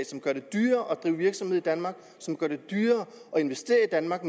som gør det dyrere at drive virksomhed i danmark som gør det dyrere at investere i danmark